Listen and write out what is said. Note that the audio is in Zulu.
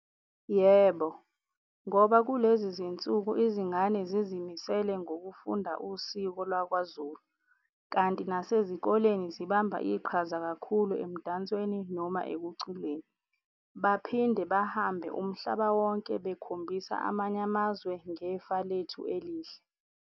Yebo, ngoba kulezi zinsuku izingane zizimisele ngokufunda usiko lwakwaZulu kanti nasezikoleni zibamba iqhaza kakhulu emdansweni noma ekuculeni. Baphinde bahambe umhlaba wonke bekhombisa amanye amazwe ngefa lethu elihle.